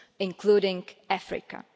including Africa.